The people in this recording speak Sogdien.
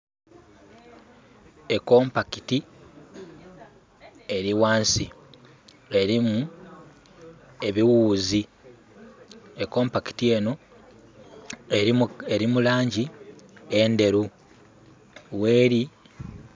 Ekompakiti eri wansi erimu ebiwuzi. Ekompakiti eno eri mulangi enderu weri